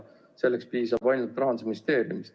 Selleks piisab ainult Rahandusministeeriumist.